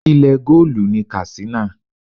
Ilẹ̀ goolu ni Katsina.